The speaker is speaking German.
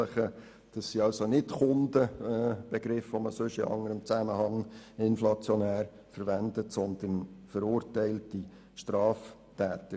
Es handelt sich also nicht um Kunden – ein Begriff, der in anderen Zusammenhängen inflationär verwendet wird –, sondern um verurteilte Straftäter.